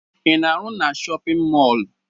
Ị na-arụ na shọpịn mọọlụ?